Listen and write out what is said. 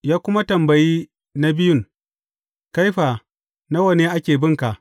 Ya kuma tambayi na biyun, Kai fa, nawa ne ake bin ka?’